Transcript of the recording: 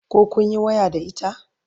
koh kunyi waya da ita?